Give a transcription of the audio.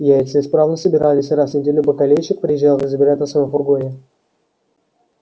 яйца исправно собирались и раз в неделю бакалейщик приезжал их забирать на своём фургоне